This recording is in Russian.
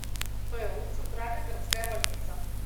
бу центральная городская больница